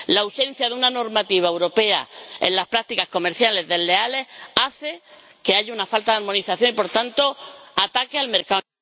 La ausencia de una normativa europea en las prácticas comerciales desleales hace que haya una armonización y, por tanto, ataque al mercado